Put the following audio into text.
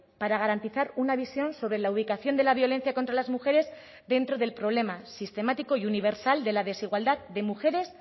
para garantizar una visión sobre la ubicación de la violencia contra las mujeres dentro del problema sistemático y universal de la desigualdad de mujeres